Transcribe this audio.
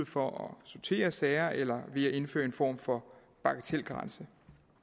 for at sortere sager eller ved at indføre en form for bagatelgrænse